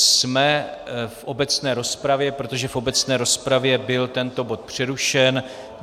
Jsme v obecné rozpravě, protože v obecné rozpravě byl tento bod přerušen.